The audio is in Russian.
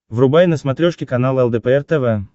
врубай на смотрешке канал лдпр тв